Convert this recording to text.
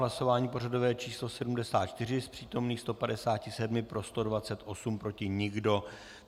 Hlasování pořadové číslo 74, z přítomných 157 pro 128, proti nikdo.